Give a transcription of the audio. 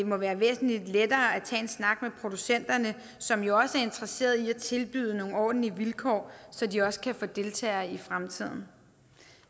må være væsentlig lettere at tage en snak med producenterne som jo også er interesseret i at tilbyde nogle ordentlige vilkår så de også kan få deltagere i fremtiden